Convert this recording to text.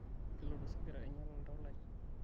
kelotu osigara ainyal oltau lai